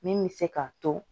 Min bɛ se k'a to